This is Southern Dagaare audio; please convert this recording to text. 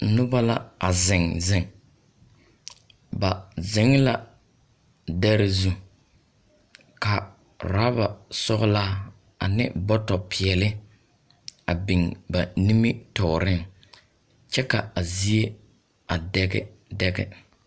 Noba la a zeŋ zeŋ. Ba zeŋe la dԑre zu. Ka oraba sͻgelaa ane bͻtͻ peԑle a biŋ nimitͻͻreŋ kyԑ ka a zie a dԑge dԑge.